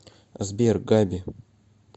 сбер габи